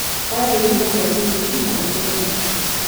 Oya ihiga rĩa gĩthĩi na ũthĩe mũtu.